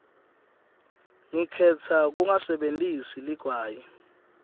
ngikhetsa kungasebentisi ligwayi